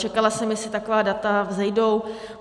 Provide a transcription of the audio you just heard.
Čekala jsem, jestli taková data vzejdou.